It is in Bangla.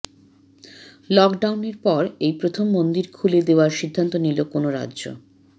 লকডাউনের পর এই প্রথম মন্দির খুলে দেওয়ার সিদ্ধান্ত নিল কোনো রাজ্য